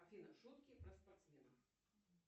афина шутки про спортсменов